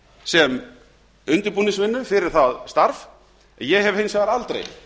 sem undirbúningsvinnu fyrir það starf ég hef hins vegar aldrei